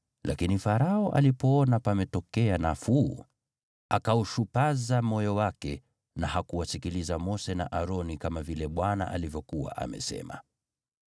Lakini Farao alipoona pametokea nafuu, akaushupaza moyo wake na hakuwasikiliza Mose na Aroni, kama vile Bwana alivyokuwa amesema.